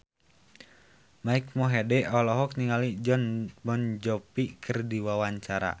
Mike Mohede olohok ningali Jon Bon Jovi keur diwawancara